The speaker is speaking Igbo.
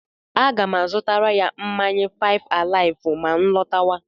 A ga m azutara ya mmanya fáịf àláịfụ mà nlọtáwá